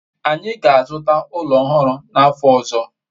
anyi ga-azuta ulo ohuru n'afo ozo